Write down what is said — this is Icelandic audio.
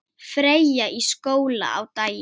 Freyja í skóla á daginn.